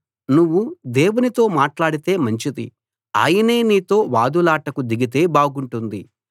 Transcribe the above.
నువ్వు దేవునితో మాట్లాడితే మంచిది ఆయనే నీతో వాదులాటకు దిగితే బాగుంటుంది